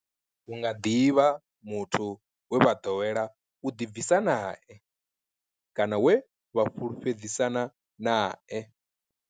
Hu nga ḓi vha muthu we vha ḓowela u ḓibvisa nae kana we vha fhulufhedzisana nae.